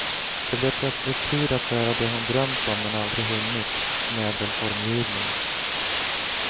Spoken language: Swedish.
Det blev plötsligt tid att göra det hon drömt om men aldrig hunnit, möbelformgivning.